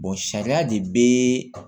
sariya de be